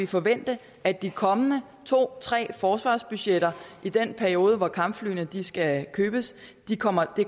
forvente at de kommende to tre forsvarsbudgetter i den periode hvor kampflyene skal købes kommer